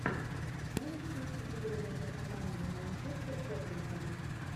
можешь включить игру между командами манчестер тоттенхэм